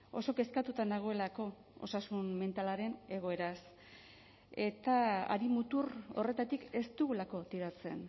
oso kezkatuta nagoelako osasun mentalaren egoeraz eta hari mutur horretatik ez dugulako tiratzen